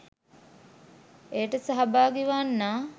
එයට සහභාගී වන්නා